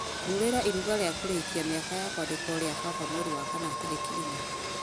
kururĩra iruga rĩa kũrĩkia mĩaka ya kwandĩkwo rĩa baba mweri wa kana tarĩki inya